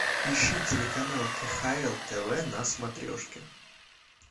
ищи телеканал кхл тв на смотрешке